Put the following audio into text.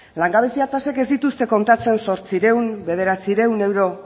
langabezia tasek ez dituzte kontatzen zortziehun bederatziehun euro